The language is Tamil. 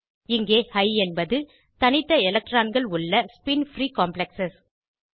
இங்கே ஹிக் என்பது தனித்த எலக்ட்ரான்கள் உள்ள ஸ்பின் பிரீ காம்ப்ளெக்ஸ்